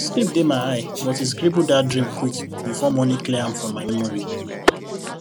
sleep still dey eye but e scribble that dream quick before morning clear am from memory